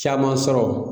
Caman sɔrɔ